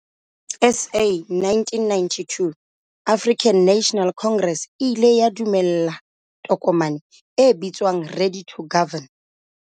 SA 1992, African National Congress, e ile ya dumela tokomane e bitswang 'Ready to Govern'.